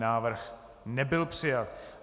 Návrh nebyl přijat.